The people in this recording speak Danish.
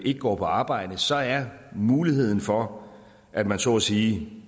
ikke går på arbejde så er muligheden for at man så at sige